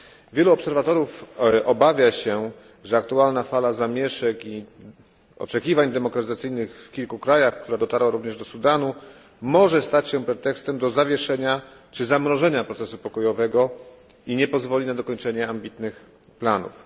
Wielu obserwatorów obawia się, że aktualna fala zamieszek i oczekiwań demokratyzacyjnych w kilku krajach, która dotarła również do Sudanu, może stać się pretekstem do zamrożenia procesu pokojowego i nie pozwoli na dokończenie ambitnych planów.